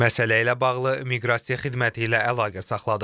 Məsələ ilə bağlı Miqrasiya xidməti ilə əlaqə saxladıq.